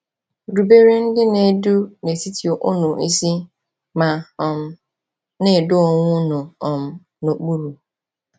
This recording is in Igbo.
“Rubere ndị na-edu n’etiti unu isi ma um na-edo onwe unu um n’okpuru.”